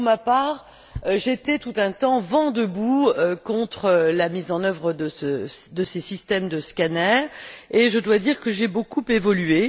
Pour ma part, j'étais, tout un temps, vent debout contre la mise en œuvre de ces systèmes de scanner, et je dois dire que j'ai beaucoup évolué.